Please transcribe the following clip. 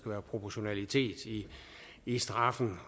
være proportionalitet i straffen